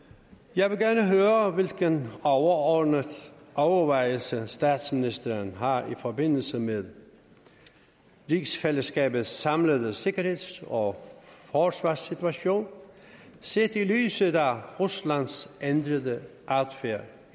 jeg vil gerne høre hvilke overordnede overvejelser statsministeren har i forbindelse med rigsfællesskabets samlede sikkerheds og forsvarssituation set i lyset af ruslands ændrede adfærd